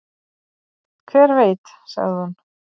"""Hver veit, sagði hún."""